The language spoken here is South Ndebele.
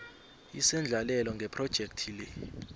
isendlalelo ngephrojekhthi le